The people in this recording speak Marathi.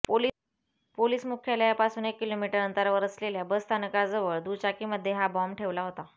पोलिस मुख्यालयापासून एक किलोमीटर अंतरावर असलेल्या बस स्थानकाजवळ दुचाकीमध्ये हा बाँब ठेवला होता